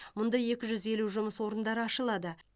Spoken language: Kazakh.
мұнда екі жүз елу жұмыс орындары ашылады